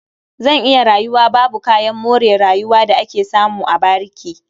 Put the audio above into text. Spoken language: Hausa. Zan iya rayuwa babu kayan more rayuwa da ake samu a bariki.